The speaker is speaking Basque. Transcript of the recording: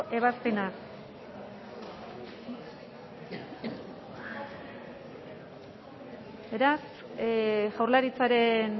ebazpena beraz jaurlaritzaren